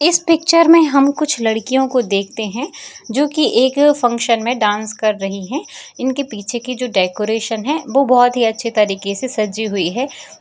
इस पिक्चर में हम कुछ लड़कियों को देखते हैं जो की एक फंक्शन में डांस कर रही हैं इनके पीछे की जो डेकोरेशन है वो बहोत ही अच्छी तरीके से सजी हुई है।